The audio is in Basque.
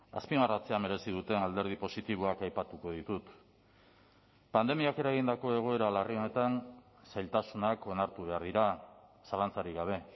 azpimarratzea merezi duten alderdi positiboak aipatuko ditut pandemiak eragindako egoera larri honetan zailtasunak onartu behar dira zalantzarik gabe